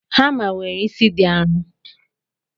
Hama nwere isi di arọ.